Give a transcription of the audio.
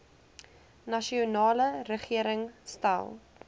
nasionale regering stel